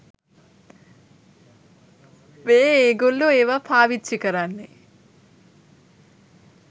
මේගොල්ලෝ ඒවා පාවිච්චි කරන්නේ